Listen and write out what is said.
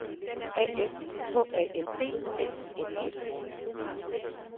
A F H A N D L I N G